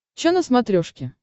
че на смотрешке